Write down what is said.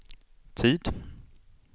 tid